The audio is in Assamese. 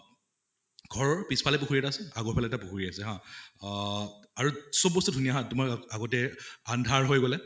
ঘৰৰ পিছ ফালে পুখুৰী এটা আছে আগৰ ফালে এটা পুখুৰী আছে হা অহ আৰু চব বস্তু ধুনীয়া হয় তোমাৰ আগতে আন্ধাৰ হৈ গʼলে